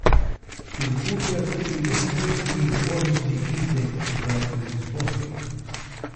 Izgublja tudi osrednji borzni indeks v Lizboni.